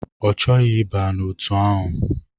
Ọ chọghị ịba n'otu ahụ.